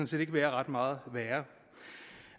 set ikke være ret meget værre